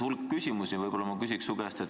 Sa tõstatasid hulga küsimusi.